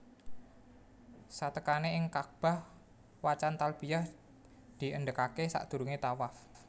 Satekane ing Kakbah wacan talbiyah diendhegake sadurunge thawaf